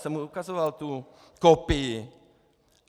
Jsem mu ukazoval tu kopii.